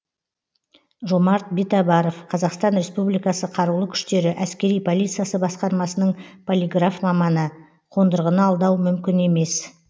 жомарт битабаров қазақстан республикасы қарулы күштері әскери полициясы басқармасының полиграф маманы қондырғыны алдау мүмкін емес